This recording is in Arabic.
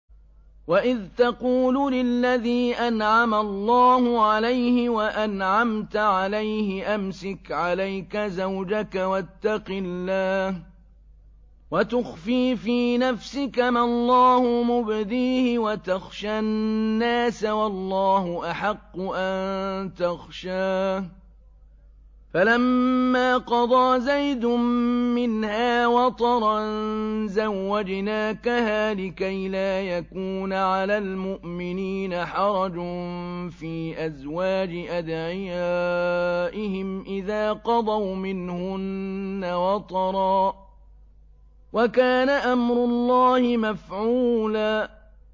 وَإِذْ تَقُولُ لِلَّذِي أَنْعَمَ اللَّهُ عَلَيْهِ وَأَنْعَمْتَ عَلَيْهِ أَمْسِكْ عَلَيْكَ زَوْجَكَ وَاتَّقِ اللَّهَ وَتُخْفِي فِي نَفْسِكَ مَا اللَّهُ مُبْدِيهِ وَتَخْشَى النَّاسَ وَاللَّهُ أَحَقُّ أَن تَخْشَاهُ ۖ فَلَمَّا قَضَىٰ زَيْدٌ مِّنْهَا وَطَرًا زَوَّجْنَاكَهَا لِكَيْ لَا يَكُونَ عَلَى الْمُؤْمِنِينَ حَرَجٌ فِي أَزْوَاجِ أَدْعِيَائِهِمْ إِذَا قَضَوْا مِنْهُنَّ وَطَرًا ۚ وَكَانَ أَمْرُ اللَّهِ مَفْعُولًا